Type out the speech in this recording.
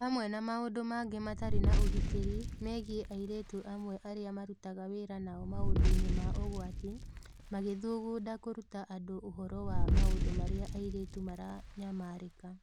Hamwe na maũndũ mangĩ matarĩ ma ũgitĩri megiĩ airĩtu amwe arĩa marutaga wĩra nao maũndũ-inĩ ma ũgwati, magĩthugunda kũruta andũ ũhoro wa maũndũ marĩa airĩtu maranyamarĩka.